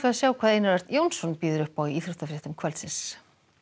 sjá hvað Einar Örn Jónsson býður upp á í íþróttafréttum kvöldsins